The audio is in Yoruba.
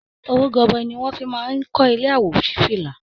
Owó gọbọi ni wọ́n fi máa ń kọ ilé àwòṣífílà